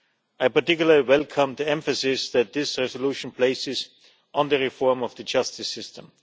I particularly welcome the emphasis that this resolution places on the reform of the justice system.